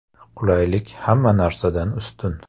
Qulaylik hamma narsadan ustun.